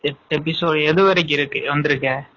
எட்டு episode எதுவரைக்கும் வந்துருக்க?